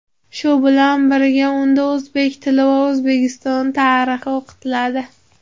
shu bilan birga unda o‘zbek tili va O‘zbekiston tarixi o‘qitiladi.